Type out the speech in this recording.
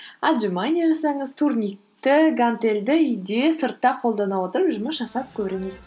отжимание жасаңыз турникті гантельді үйде сыртта қолдана отырып жұмыс жасап көріңіз